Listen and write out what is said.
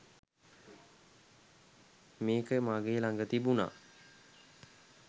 මෙක මගෙ ලග තිබුනා